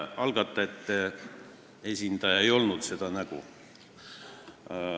Algatajate esindaja ei olnud seda nägu.